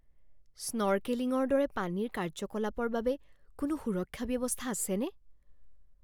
স্নৰ্কেলিংৰ দৰে পানীৰ কাৰ্যকলাপৰ বাবে কোনো সুৰক্ষা ব্যৱস্থা আছেনে?